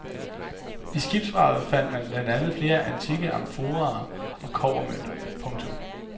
I skibsvraget fandt man blandt andet flere antikke amforaer og kobbermønter. punktum